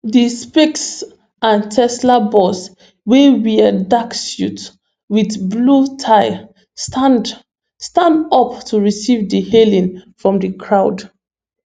di spacex and tesla boss wey wear dark suit with blue tie stand stand up to receive di hailing from di crowd